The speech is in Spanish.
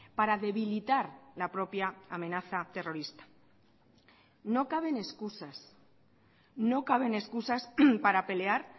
para debilitar la propia amenaza terrorista no caben excusas no caben excusas para pelear